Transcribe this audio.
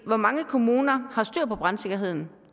hvor mange kommuner har styr på brandsikkerheden